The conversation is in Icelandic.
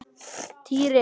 Týri!